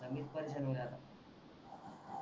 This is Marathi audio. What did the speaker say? आता मीच परीशान होत आहे आता